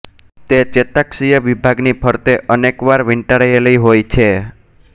તે ચેતાક્ષીય વિભાગની ફરતે અનેકવાર વીંટળાયેલી હોય છે